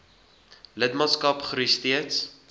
lidmaatskap groei steeds